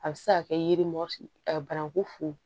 A bɛ se ka kɛ yiri bananku funu